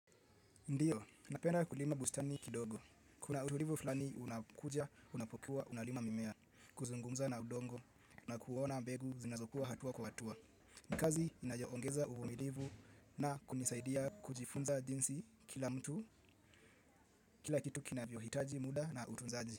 Ndiyo, napenda kulima bustani kidogo. Kuna utulivu fulani unakuja unapokuwa unalima mimea, kuzungumza na udongo na kuona mbegu zinazokua hatua kwa hatua. Ni kazi inayoongeza uvumilivu na kunisaidia kujifunza jinsi kila mtu, kila kitu kinavyohitaji muda na utunzaji.